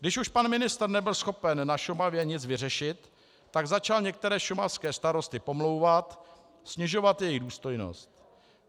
Když už pan ministr nebyl schopen na Šumavě nic vyřešit, tak začal některé šumavské starosty pomlouvat, snižovat jejich důstojnost.